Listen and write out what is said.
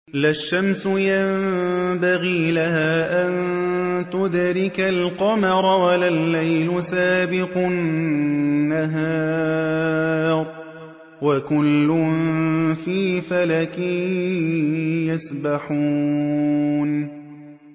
لَا الشَّمْسُ يَنبَغِي لَهَا أَن تُدْرِكَ الْقَمَرَ وَلَا اللَّيْلُ سَابِقُ النَّهَارِ ۚ وَكُلٌّ فِي فَلَكٍ يَسْبَحُونَ